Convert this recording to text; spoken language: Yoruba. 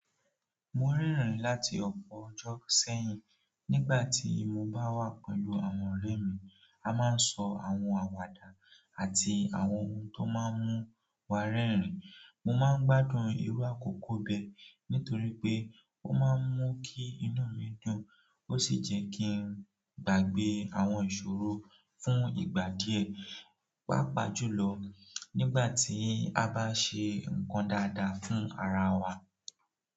Mo rẹ́rìn láti ọpọ ọjọ sẹ́yìn, nígbàtí mo bá wà pẹ̀lú àwọn ọrẹ mi, a máa sọ àwọn àwàdà àti àwọn ohun tó máa ń mú wa rẹrin. Mo máa ń gbádùn irú àkókò bẹ nítorí pé o máa ń mú kí inú mi dùn ó sì jẹ kí n gbàgbé àwọn ìṣòro fún ìgbà díẹ̀. Pàápàá julọ nígbàtí a bá ṣe ǹkan dáadáa fún ara wa.